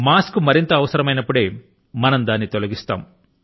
mask ను మరింత అవసరమైనప్పుడే తొలగిద్దాము